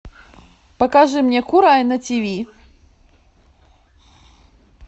покажи мне курай на ти ви